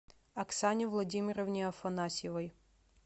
оксане владимировне афанасьевой